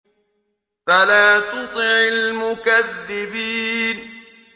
فَلَا تُطِعِ الْمُكَذِّبِينَ